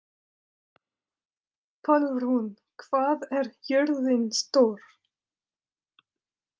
Pálrún, hvað er jörðin stór?